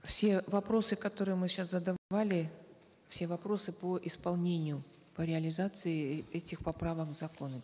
все вопросы которые мы сейчас задавали все вопросы по исполнению по реализации этих поправок в законы